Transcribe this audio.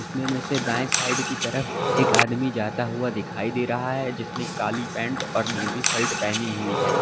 इसमें मे से दाएं साइड की तरफ एक आदमी जाता हुआ दिखाई दे रहा है जिसने काली पैंट और नीली शर्ट पहनी हुई है।